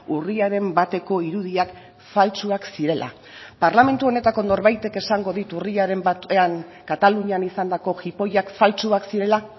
urriaren bateko irudiak faltsuak zirela parlamentu honetako norbaitek esango dit urriaren batean katalunian izandako jipoiak faltsuak zirela